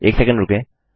एक सेकंड रूकें